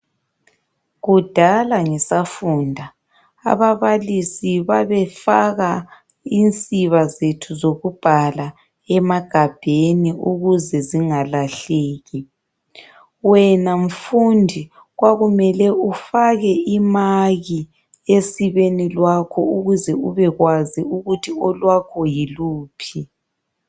Kudala ngisafunda, ababalisi babefaka insiba zethu zokubhala emagabheni ukuze zingalahleki. Wena mfundi kwakumele ufake imaki esibeni lwakho ukuze ubekwazi ukuthi olwakho yiluphi.